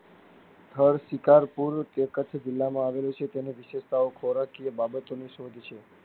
સ્થળ શિકારપુર તે કચ્છ જિલ્લા માં આવેલું છે તેની વિશિષ્ટતા ખોરાકની બાબતો ની શોધ છે.